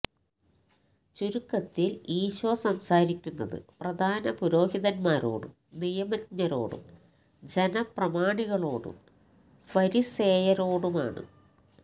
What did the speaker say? ചുരുക്കത്തിൽ ഈശോ സംസാരിക്കുന്നത് പ്രധാന പുരോഹിതന്മാരോടും നിയമജ്ഞരോടും ജനപ്രമാണികളോടും ഫരിസേയരോടുമാണ്